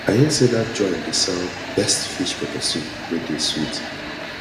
i hear say dat joint dey sell best fish pepper soup wey dey sweet